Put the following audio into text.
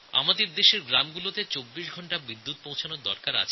আমাদের দেশের প্রতি গ্রামে ২৪ ঘণ্টা বিদ্যুৎ সরবরাহ দরকার